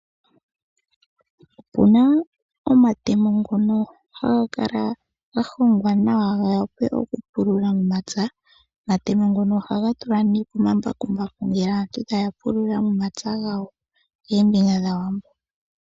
Opuna omatemo ngono haga kala ga hongwa nawa ga wape okupululuthwa momapya. Omatemo ngono ohaga tulwa nee komambakumbaku yo aantu taya pulula momapya gawo.